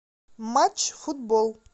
матч футбол